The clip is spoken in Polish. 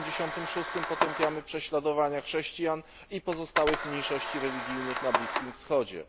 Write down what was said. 56 potępiamy prześladowania chrześcijan i pozostałych mniejszości religijnych na Bliskim Wschodzie.